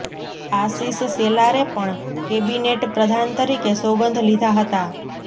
આશિષ શેલારે પણ કેબિનેટ પ્રધાન તરીકે સોગંદ લીધા હતા